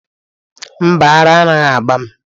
Mba, ara anaghị agba m.